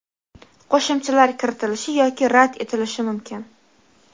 qo‘shimchalar kiritilishi yoki rad etilishi mumkin.